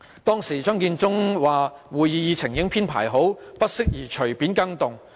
當時，張建宗說會議議程已經編排好，不適宜隨便改動。